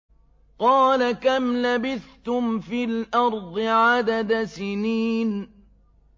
قَالَ كَمْ لَبِثْتُمْ فِي الْأَرْضِ عَدَدَ سِنِينَ